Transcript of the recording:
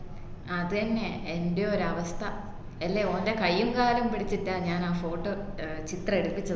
അതെന്നെ എന്റെ ഒരു അവസ്ഥ എല്ലേ ഓൻറെ കയ്യും കാലും പിടിചിറ്റ ഞാൻ അഹ് photo ഏർ ചിത്ര എടുപ്പിച്ചത്